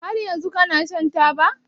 Har yanzu kana shan taba?